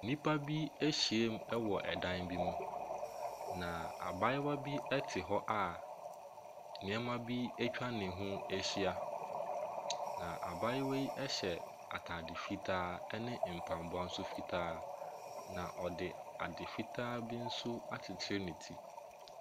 Nnipa bi ahyiam wɔ dan bi mu, na abaayewa bi te hɔ a nneɛma bi atwa ne ho ahyia. Na abaayewa yi ɛhyɛ ataade fitaa ne mpaboa nso fitaa na ɔde ade fitaa bi nso akyekyere ne ti.